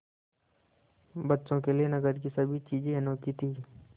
बच्चों के लिए नगर की सभी चीज़ें अनोखी थीं